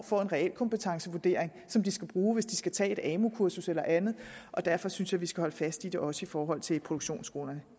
får en reel kompetencevurdering som de skal bruge hvis de skal tage et amu kursus eller andet derfor synes jeg vi skal holde fast i det også i forhold til produktionsskolerne